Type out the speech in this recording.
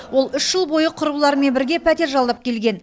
ол үш жыл бойы құрбыларымен бірге пәтер жалдап келген